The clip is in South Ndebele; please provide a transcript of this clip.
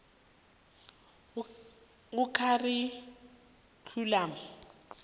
sekharikhyulamu